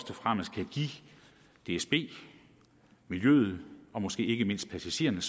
og fremmest kan give dsb miljøet og måske ikke mindst passagererne